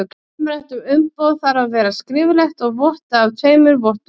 Umrætt umboð þarf að vera skriflegt og vottað af tveimur vottum.